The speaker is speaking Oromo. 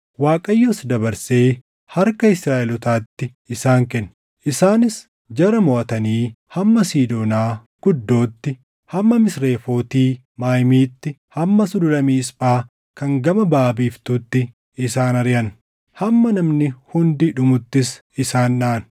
Waaqayyos dabarsee harka Israaʼelootaatti isaan kenne. Isaanis jara moʼatanii hamma Siidoonaa Guddootti, hamma Misrefooti Maayimiitti, hamma Sulula Miisphaa kan gama baʼa biiftuutti isaan ariʼan; hamma namni hundi dhumuttis isaan dhaʼan.